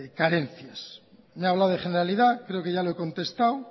carencias me ha hablado de generalidad creo que ya lo he contestado